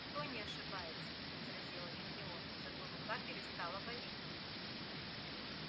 кто не ошибается возразила гермиона зато рука перестала болеть